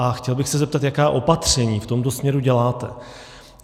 A chtěl bych se zeptat, jaká opatření v tomto směru děláte.